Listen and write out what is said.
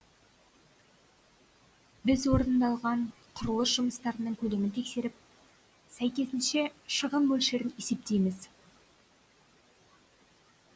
біз орындалған құрылыс жұмыстарының көлемін тексеріп сәйкесінше шығын мөлшерін есептейміз